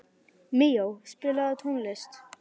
Míó, spilaðu tónlist.